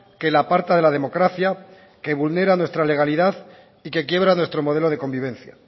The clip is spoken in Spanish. que la aparta de la democracia que vulnera nuestra legalidad y que quiebra nuestro modelo de convivencia